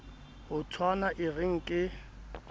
ho tshwana e re nke